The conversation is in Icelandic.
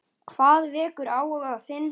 Hvað vekur áhuga þinn?